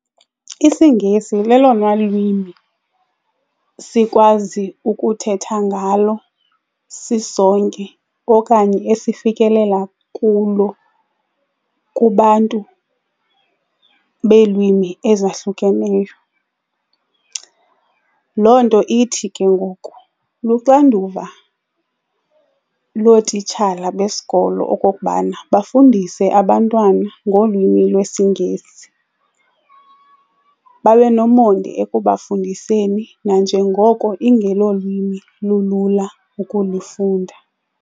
IsiNgesi lelona lwimi sikwazi ukuthetha ngalo sisonke okanye esifikelela kulo kubantu beelwimi ezahlukeneyo. Loo nto ithi ke ngoku luxanduva lootitshala besikolo okokubana bafundise abantwana ngolwimi lwesiNgesi, babe nomonde ekubafundiseni nanjengoko ingelolwimi lulula ukulifunda.